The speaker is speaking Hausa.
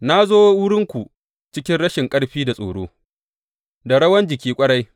Na zo wurinku cikin rashin ƙarfi da tsoro, da rawan jiki ƙwarai.